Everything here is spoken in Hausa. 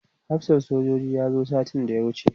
hafsan sojojin ya zo satin da ya wuce